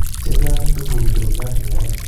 chechang che kochut ole chang cheyach